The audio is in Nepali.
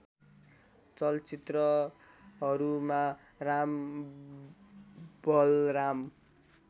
चलचित्रहरूमा राम बलराम